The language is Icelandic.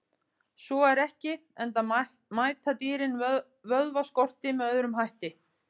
Svo er ekki, enda mæta dýrin vökvaskorti með öðrum hætti.